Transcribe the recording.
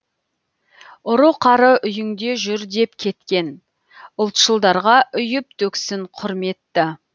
ұры қары үйіңде жүр деп кеткен ұлтшылдарға үйіп төксін құрметті